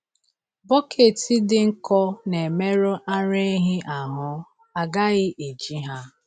Bọket dị nkọ na-emerụ ara ehi ahụ, a gaghị eji ha.